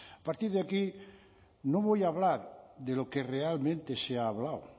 a partir de aquí no voy a hablar de lo que realmente se ha hablado